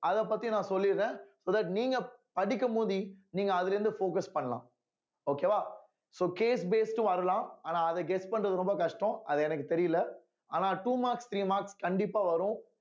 அதப் பத்தி நான் சொல்லிடுறேன் so that நீங்க படிக்கும் போது நீங்க அதுல இருந்து focus பண்ணலாம் okay வா so case based ம் வரலாம் ஆனா அத guess பண்றது ரொம்ப கஷ்டம் அது எனக்குத் தெரியல ஆனா two marks three marks கண்டிப்பா வரும்